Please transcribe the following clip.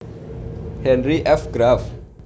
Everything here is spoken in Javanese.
Henry F Graff